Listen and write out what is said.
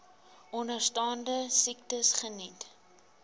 onderstaande siektes geniet